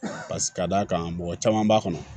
ka d'a kan mɔgɔ caman b'a kɔnɔ